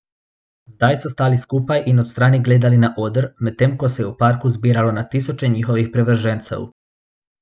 Zdaj so stali skupaj in od strani gledali na oder, medtem ko se je v parku zbiralo na tisoče njihovih privržencev.